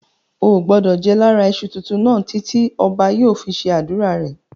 Ò gbọdọ̀ jẹ lára iṣu tuntun náà títí ọba yóò fi ṣe ádùrá rẹ̀.